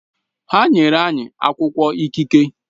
Ha nyere anyị akwụkwọ ikike